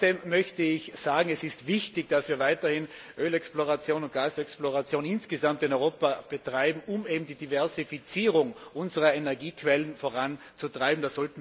Trotzdem möchte ich sagen, es ist wichtig, dass wir weiterhin Ölexploration und Gasexploration insgesamt in Europa betreiben, um die Diversifizierung unserer Energiequellen voranzutreiben.